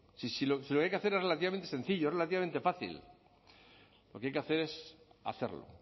si lo que hay que hacer es relativamente sencillo es relativamente fácil lo que hay que hacer es hacerlo